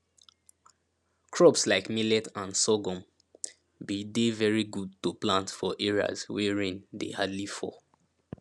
crops like millet and sorghum been dey very good to plant for areas wey rain dey hardly fall